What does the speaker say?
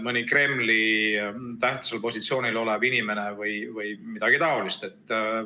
Mõni Kremli tähtsal positsioonil olev inimene või midagi taolist?